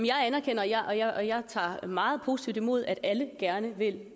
tager meget positivt imod at alle gerne vil